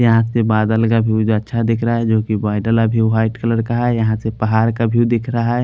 यहाँ से बादल का व्यूज़ अच्छा दिख रहा हैं जो की बादल अभी व्हाईट कलर का हैं यहाँ से पहाड़ का व्यू दिख रहा हैं।